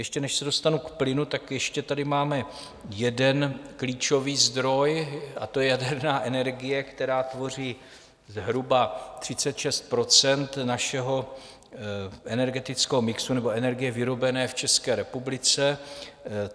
Ještě než se dostanu k plynu, tak ještě tady máme jeden klíčový zdroj, a to je jaderná energie, která tvoří zhruba 36 % našeho energetického mixu nebo energie vyrobené v České republice.